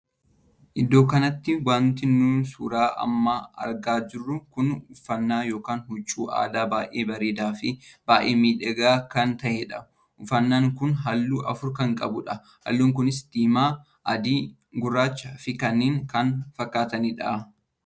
Iddoo kanatti wanti nuti suuraa amma argaa jirru kun uffannaa ykn huccuu aadaa baay'ee bareedaa fi baay'ee miidhagaa kan tahedha. uffannaan kun halluu afur kan qabudha. halluun kunis diimaa, adii, gurraacha fi kanneen kan fakkaatanidha.